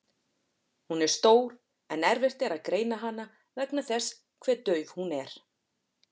Hún er stór en erfitt er að greina hana vegna þess hve dauf hún er.